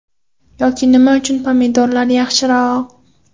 Yoki nima uchun pomidorlar yaxshiroq.